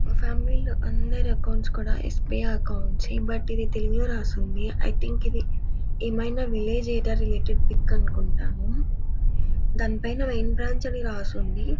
మా ఫామిలీ లో అందరి అకౌంట్స్ కూడా యస్_ బి_ఐ అకౌంట్స్ . బట్ ఇది తెలుగు రాసి ఉంది. ఐ థింక ఇది ఏమైనా విల్లజ్ పిక్ అనుకుంటాను. దాని పైన బ్రాంచ్ అని రాసి ఉంది.